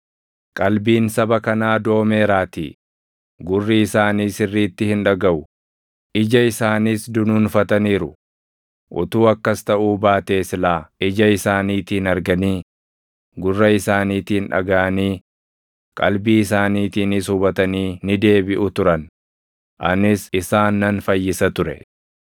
Qalbiin saba kanaa doomeeraatii; gurri isaanii sirriitti hin dhagaʼu; ija isaaniis dunuunfataniiru. Utuu akkas taʼuu baatee silaa ija isaaniitiin arganii, gurra isaaniitiin dhagaʼanii, qalbii isaaniitiinis hubatanii ni deebiʼu turan; anis isaan nan fayyisa ture.’ + 13:15 \+xt Isa 6:9,10\+xt*